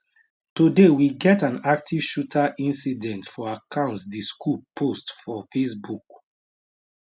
today we get an active shooter incident for alcs di school post for facebook